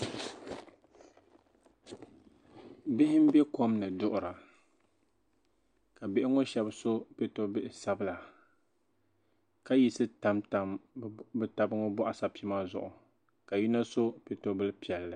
bihi m-be kom ni duɣira ka bihi ŋɔ shɛba so piɛto'bihi sabila ka yisi tamtam bɛ taba ŋɔ bɔɣisapima zuɣu ka yino so piɛto'bili piɛlli